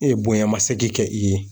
E bonyama seki kɛ i ye